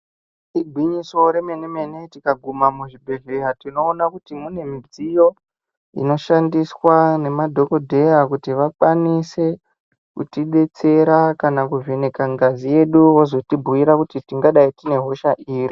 Igwinyiso remene mene tikaguma muzvibhedhleya tinoona kuti mune midziyo inoshandiswa nemadhokodheya kuti vakwanise kutidetsera kana kuvheneka ngazi yedu vozotibhiyira kuti tingadai tine hosha iri.